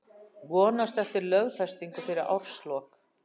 Vonast eftir lögfestingu fyrir árslok